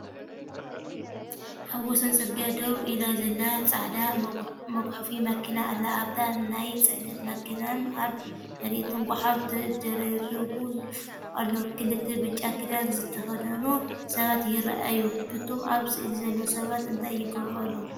ኣብ ወሰን ጽርግያ ደው ኢላ ዘላ ጻዕዳ መጉሓፊ መኪና ኣላ። ኣብታ ናይ ጽዕነት መኪናን ኣብ መሬትን ጐሓፍ ተደራሪቡ ኣሎ። ክልተ ብጫ ክዳን ዝተኸድኑ ሰባት ይረኣዩ። እቶም ኣብ ስእሊ ዘለዉ ሰባት እንታይ ይገብሩ ኣለዉ?